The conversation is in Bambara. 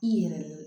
I yɛrɛ